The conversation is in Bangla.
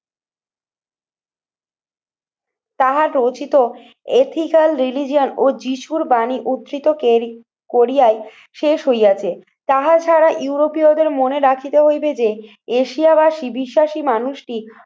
তাহার রচিত ethical religion ও যীশুর বাণী উদ্ধৃত করিয়ায় শেষ হইয়াছে তাহা ছাড়া ইউরোপীয়দের মনে রাখিতে হইবে যে এশিয়াবাশি বিশ্বাসী মানুষটি